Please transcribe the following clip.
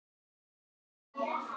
Skriðu